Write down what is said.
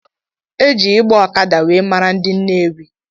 Eji ịgba ọkada wee mara ndị Nnewi.